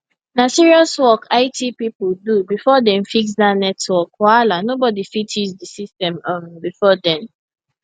na serious work it people do before dem fix that network wahala nobody fit use the system um before then